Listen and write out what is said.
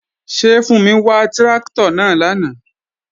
Ṣé Fúnmi wà tráktọ̀ náà lánàá?